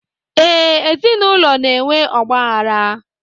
ee, ezinụlọ na-enwe ọgba aghara